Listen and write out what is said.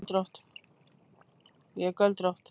Ég er göldrótt.